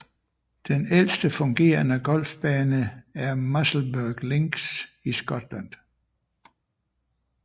Den ældste fungerende golfbane er Musselburgh Links i Skotland